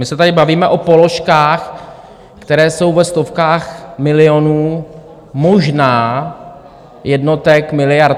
My se tady bavíme o položkách, které jsou ve stovkách milionů, možná jednotek miliard.